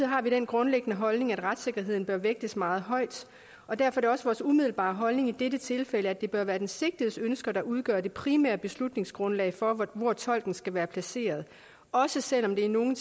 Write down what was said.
har vi den grundliggende holdning at retssikkerheden bør vægtes meget højt og derfor er det også vores umiddelbare holdning i dette tilfælde at det bør være den sigtedes ønsker der udgør det primære beslutningsgrundlag for hvor tolken skal være placeret også selv om det i nogle